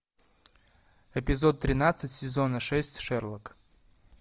эпизод тринадцать сезона шесть шерлок